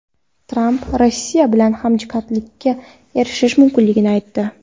Tramp Rossiya bilan hamjihatlikka erishish mumkinligini aytdi.